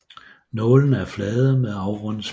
Nålene er flade med afrundet spids